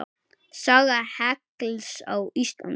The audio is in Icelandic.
Saga hekls á Íslandi